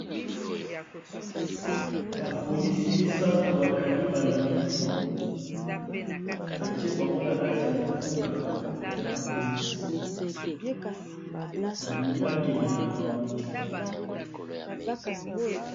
bapolisi misato bakangi bamiyibi batie bango na kati ya motuka ya bapolisi balingi bakende na bango